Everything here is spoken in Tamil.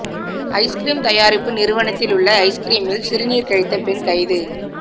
ஐஸ்கிறீம் தயாரிப்பு நிறுவனத்திலுள்ள ஐஸ்கிறீமில் சிறுநீர் கழித்த பெண் கைது